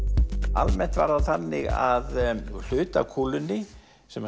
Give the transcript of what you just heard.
almennt var það þannig að hluti af kúlunni sem